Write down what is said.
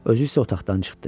Özü isə otaqdan çıxdı.